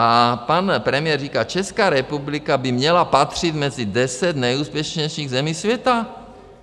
A pan premiér říká - Česká republika by měla patřit mezi deset nejúspěšnějších zemí světa.